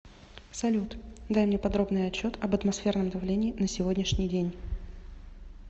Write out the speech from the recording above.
салют дай мне подробный отчет об атмосферном давлении на сегодняшний день